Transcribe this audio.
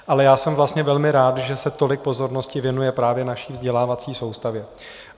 Ale já jsem vlastně velmi rád, že se tolik pozornosti věnuje právě naší vzdělávací soustavě.